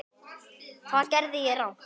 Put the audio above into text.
Hvað gerði ég rangt?